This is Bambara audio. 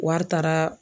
Wari taara